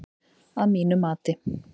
Að mati